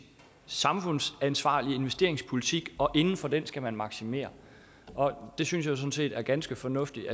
samfundsansvarlig investeringspolitik og inden for den skal man maksimere det synes jeg sådan set er ganske fornuftigt